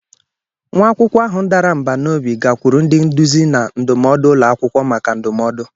Nwa akwụkwọ ahụ dara mbà n'obi gakwuru ndi nduzi na ndụmọdụ ulọ akwukwo maka ndụmọdụ.